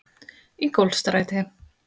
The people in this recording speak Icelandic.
Ingólfsstræti